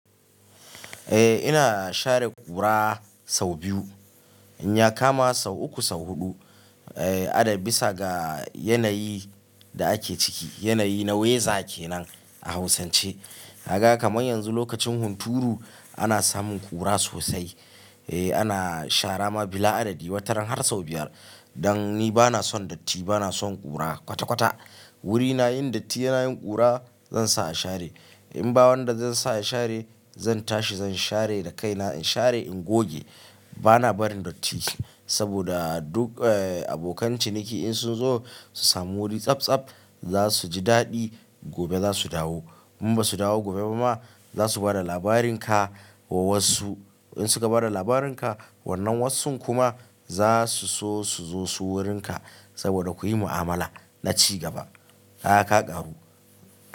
Eh ina share ƙura sau biyu, in ya kama sau uku sau huɗu, eh adad bisa ga yanayi da ake ciki. Yanayi na wiza ke nan a Hausance. Haka kamar yanzu lokacin hunturu ana samun ƙura sosai. Eh ana shara ma bila adadi wataran har sau biyar. Dan ni bana son datti, bana son ƙura kwata kwata. Wuri na yin datti yana yin ƙura zan sa a share. In ba wanda zan sa a share zan tashi zan share da kaina. In share in goge bana barin datti. Saboda duk eh abokan ciniki in sun zo su sami wuri tsabtsab za su ji daɗi gobe za su dawo. In basu dawo gobe ba ma za su bada labarin ka wa wasu. In su ka bada labarin ka wannan wassun kuma za su so su zo su wurin ka saboda kuyi mu'amala na ci gaba. Kaga ka karu.